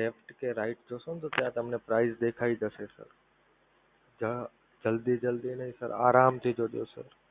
left કે right જૉશો ને તો તમને ત્યાં price દેખાઈ જશે sir જલ્દી જલ્દી નહીં સર આરામથી જોજો sir